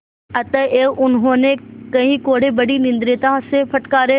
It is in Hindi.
अतएव उन्होंने कई कोडे़ बड़ी निर्दयता से फटकारे